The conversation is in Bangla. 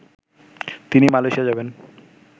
তিনি মালয়েশিয়া যাবেন